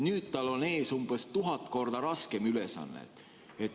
Nüüd tal on ees umbes tuhat korda raskem ülesanne.